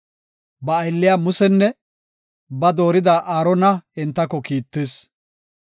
Ba aylliya Musenne ba doorida Aarona entako kiittis.